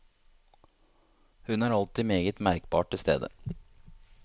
Hun er alltid meget merkbart til stede.